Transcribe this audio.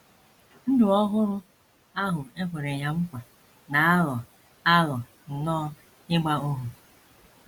‘ Ndụ ọhụrụ ’ ahụ e kwere ya ná nkwa na - aghọ - aghọ nnọọ ịgba ohu.